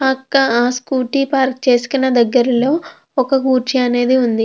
పక్క ఆ scooty park చేసుకున్న దగ్గరలో ఒక కుర్చీ అనేది ఉంది.